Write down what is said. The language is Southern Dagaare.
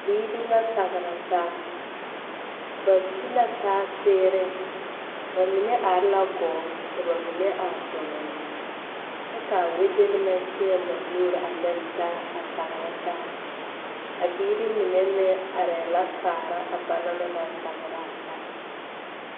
Biiri la tagra taa ba ti la taa seereŋ ba mine are la gɔɔ ka ba mine are doloŋ kyɛ k,a wedenemɛ teɛŋ ba nuuri a lere taa a tagra taa a biiri mine meŋ arɛɛ la kaara a ba na naŋ tagra a taa.